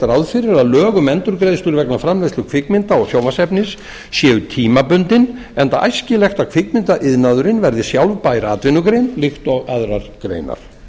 ráð fyrir að lög um endurgreiðslur vegna framleiðslu kvikmynda og sjónvarpsefnis séu tímabundin enda æskilegt að kvikmyndaiðnaðurinn verði sjálfbær atvinnugrein líkt og aðrar greinar